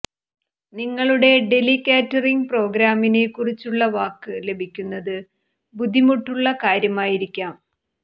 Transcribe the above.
നിങ്ങളുടെ deli catering പ്രോഗ്രാമിനെ കുറിച്ചുള്ള വാക്ക് ലഭിക്കുന്നത് ബുദ്ധിമുട്ടുള്ള കാര്യമായിരിക്കാം